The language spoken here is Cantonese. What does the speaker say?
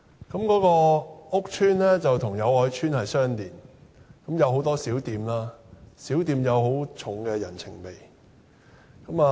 該屋邨與友愛邨相連，有很多小店，小店有很重的人情味。